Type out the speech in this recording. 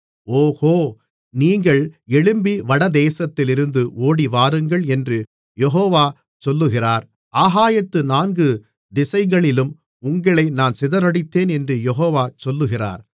ஓகோ நீங்கள் எழும்பி வடதேசத்திலிருந்து ஓடிவாருங்கள் என்று யெகோவா சொல்லுகிறார் ஆகாயத்து நான்கு திசைகளிலும் உங்களை நான் சிதறடித்தேன் என்று யெகோவா சொல்லுகிறார்